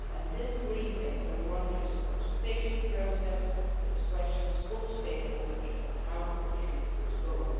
This Green Paper launches a consultation process which questions all stakeholders on how to achieve this goal.